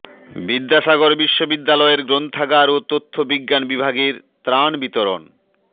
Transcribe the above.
বিদ্যাসাগর বিশ্ববিদ্যালয়ের গ্রন্থাগার ও তথ্য বিজ্ঞান বিভাগের ত্রাণ বিতরণ